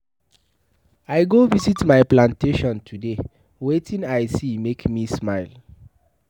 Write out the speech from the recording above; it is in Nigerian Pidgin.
I go visit my plantation today, wetin I see make me smile.